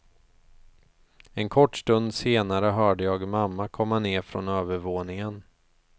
En kort stund senare hörde jag mamma komma ner från övervåningen.